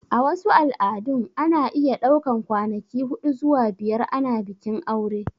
A wasu al'adun ana iya ɗaukan kwanaki huɗu zuwa biyar ana bikin aure